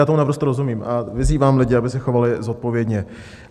Já tomu naprosto rozumím a vyzývám lidi, aby se chovali zodpovědně.